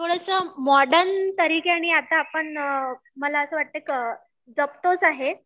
थोडंसं मॉडर्न तरीक्याने आता आपण मला असं वाटतंय जपतोच आहे.